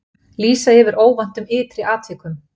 Lýsa yfir óvæntum ytri atvikum